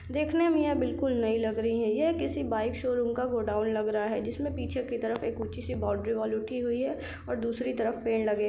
देखने मे यह बिल्कुल नई लग रही है यह किसी बाइक शोरूम का गोडाउन लगरहा है जिस मे पीछे की तरफ एक ऊँची सी बाउंड्री वाल उठी हुई है और दूसरी तरफ पेड़ लगे--